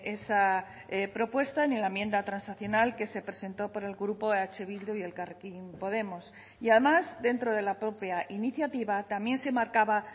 esa propuesta ni la enmienda transaccional que se presentó por el grupo eh bildu y elkarrekin podemos y además dentro de la propia iniciativa también se marcaba